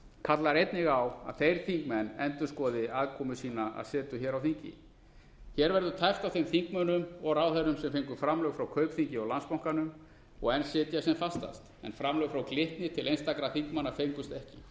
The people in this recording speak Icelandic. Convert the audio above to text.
kallar einnig á að þeir þingmenn endurskoði aðkomu sína að setu hér á þingi hér verður tæpt á þeim þingmönnum og ráðherrum sem fengu framlög frá kaupþingi og landsbankanum og enn sitja sem fastast en framlög frá glitni til einstakra þingmanna fengust ekki